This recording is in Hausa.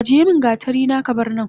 Ajiyemin gatarina kabarnan